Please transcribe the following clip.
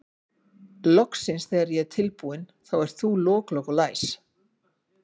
Loksins þegar ég er tilbúin þá ert þú lok, lok og læs.